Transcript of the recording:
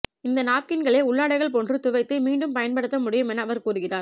இந்த நாப்கின்களை உள்ளாடைகள் போன்று துவைத்து மீண்டும் பயன்படுத்த முடியும் என அவர் கூறுகிறார்